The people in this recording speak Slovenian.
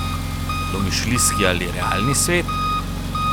Domišljijski ali realni svet?